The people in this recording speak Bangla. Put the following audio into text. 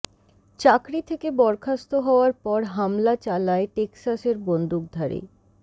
চাকরি থেকে বরখাস্ত হওয়ার পর হামলা চালায় টেক্সাসের বন্দুকধারী